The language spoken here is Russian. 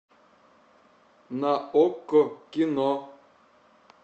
на окко кино